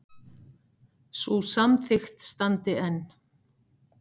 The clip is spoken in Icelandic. Sú samþykkt standi enn.